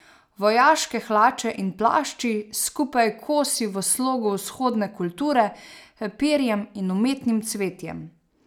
Vojaške hlače in plašči, skupaj kosi v slogu vzhodne kulture, perjem in umetnim cvetjem.